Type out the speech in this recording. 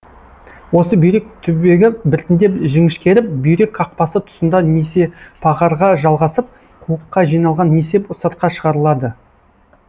осы бүйрек түбегі біртіндеп жіңішкеріп бүйрек қақпасы тұсында несепағарға жалғасып қуыққа жиналған несеп сыртқа шығарылады